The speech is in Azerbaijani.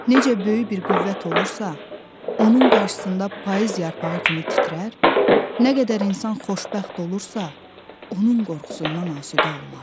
Necə böyük bir qüvvət olursa, onun qarşısında payız yarpağı kimi titrər, nə qədər insan xoşbəxt olursa, onun qorxusundan asudə olmaz.